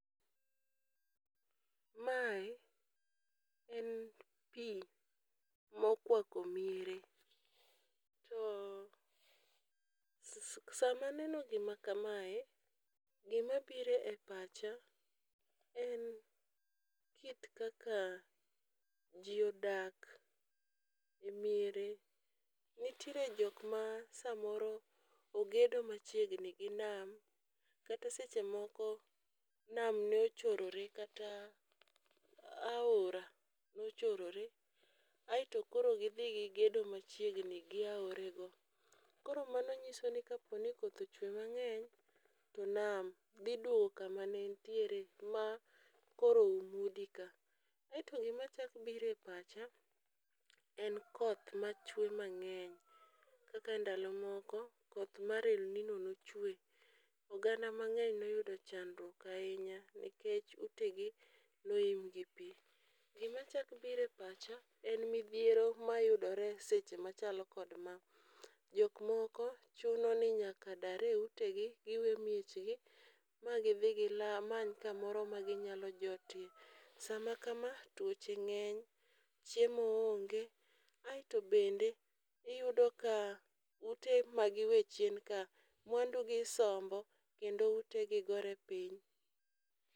Mae en pii mokwako miere to sama neno gima kamae gima bire e pacha en kit kaka jii odak e miere. Nitiere jok ma samoro ogedo machiegni gi nama kata seche moko nam nochorore kata aora nochorore . Aeto koro gidhi gigedo machiegni gi aore go. Koro mano nyiso ni kapo ni koth ochwe mang'eny to nama ndhi duogo kuma ne entiere ma koro udi ka. Kaeto gima chak bire pacha en koth machwe mang'eny. Kaka ndalo moko koth mar elnino nochwe oganda mang'eny noyudo chandruok ahinya nikech ute gi noum gi pii gima chak bire pacha en nidhiero mayudore seche machelo kod ma . Jok moko chuno ni nyaka dar e ute gi giwe miechgi magi dhi gila gimany kamoro ma ginyalo dakie. Sama kama tuoche ng'eny chiemo onge aeto bende iyudo ka ute ma giwe chien ka mwandu gi isombo kendo utegi gore piny.